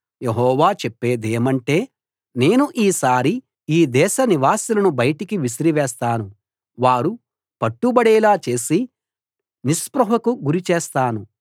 యెహోవా చేప్పేదేమంటే నేను ఈసారి ఈ దేశ నివాసులను బయటికి విసిరివేస్తాను వారు పట్టబడేలా చేసి నిస్పృహకు గురి చేస్తాను